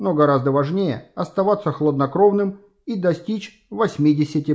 но гораздо важнее оставаться хладнокровным и достичь восьмидесяти